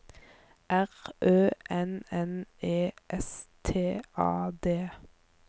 R Ø N N E S T A D